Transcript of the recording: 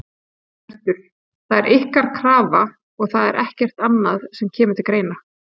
Hjörtur: Það er ykkar krafa og það er ekkert annað sem að kemur til greina?